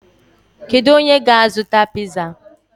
Kedu onye ga-azụta piza?